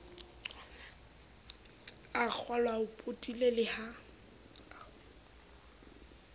a kgolwao potile le ha